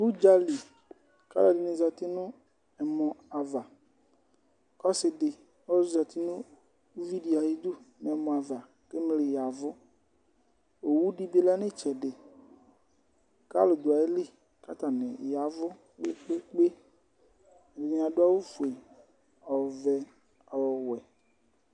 Ʋdza li kʋ alʋɛdɩnɩ zati nʋ ɛmɔ ava. Ɔsɩ dɩ ɔzati nʋ uvi dɩ ayidu nʋ ɛmɔ ava kʋ emli ya ɛvʋ. Owubdɩ bɩ lɛ nʋ ɩtsɛdɩ kʋ alʋ dʋ ayili kʋ atanɩ ya ɛvʋ kpe-kpe-kpe. Ɛdɩnɩ adʋ awʋfue, ɔvɛ, ɔwɛ.